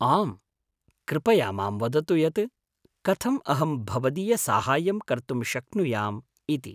आम्, कृपया मां वदतु यत् कथम् अहं भवदीयसाहाय्यं कर्तुं शक्नुयाम् इति।